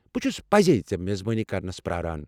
بہ چھس پزی ژےٚ میزبٲنی کرنس پرٛاران۔